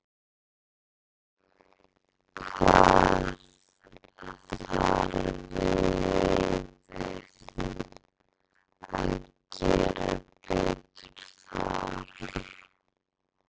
Hvað þarf liðið að gera betur þar?